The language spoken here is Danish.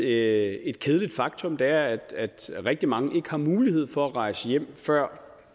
er et kedeligt faktum er at rigtig mange ikke har mulighed for at rejse hjem før